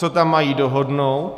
Co tam mají dohodnout?